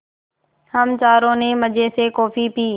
हम चारों ने मज़े से कॉफ़ी पी